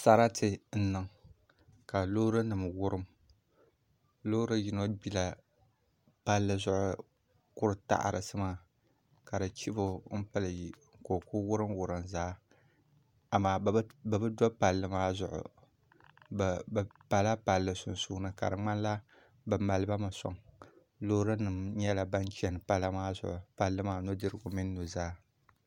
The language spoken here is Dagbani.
Sarati n niŋ ka loori nim wurim loori yino gbila palli zuɣu kuri taɣarisi maa ka di chibo n pili ka o ku wurim wurim zaa amaa bi bi do palli maa zuɣu bi pala palli sunsuuni ka di ŋmanila bi maliba mi soŋ loori nim nyɛla ban chɛni palli maa zuɣu nudirigu mini nuzaa